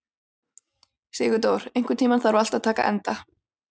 Sigurdór, einhvern tímann þarf allt að taka enda.